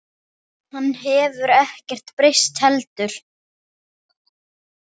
Hann hefur ekkert breyst heldur.